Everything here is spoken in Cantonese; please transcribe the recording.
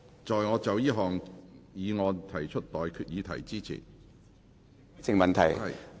在我就這項議案提出待決議題之前......